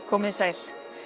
komið þið sæl